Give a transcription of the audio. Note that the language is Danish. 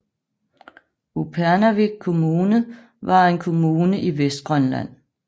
Upernavik Kommune var en kommune i Vestgrønland